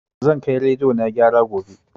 Zan kai rediyo na gyara gobe